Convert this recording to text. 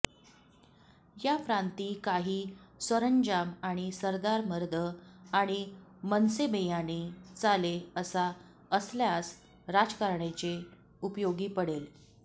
या प्रांतीं कांहीं सरंजाम आणि सरदार मर्द आणि मनसेबेयानें चाले असा असल्यास राजकारणाचे उपयोगी पडेल